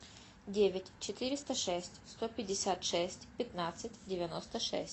девять четыреста шесть сто пятьдесят шесть пятнадцать девяносто шесть